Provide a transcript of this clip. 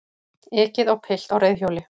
Ekið á pilt á reiðhjóli